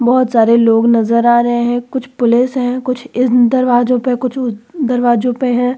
बहुत सारे लोग नज़र आ रहे हैं। कुछ पुलिस है। कुछ दरवाज़ों पे कुछ ऊ दरवाजे पे हैं।